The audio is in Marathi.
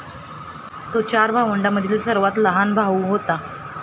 तो चार भावंडांमधला सर्वात लहान भाऊ होता.